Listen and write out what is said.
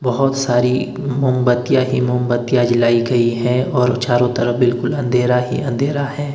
बहोत सारी मोमबत्तियां ही मोमबत्तियां जलाई गई है और चारों तरफ बिल्कुल अंधेरा ही अंधेरा है।